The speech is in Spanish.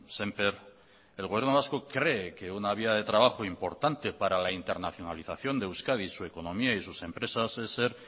sémper el gobierno vasco cree que una vía de trabajo importante para la internacionalización de euskadi su economía y sus empresas es ser